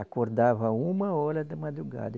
Acordava uma hora da madrugada.